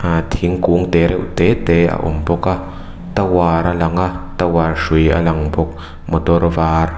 ahh thingkung te reuh te te a a awm bawk a tower a lang a tower hrui a lang bawk motor var --